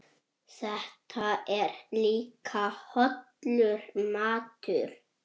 Því ferli lýkur aldrei.